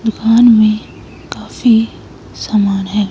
दुकान में काफी सामान है।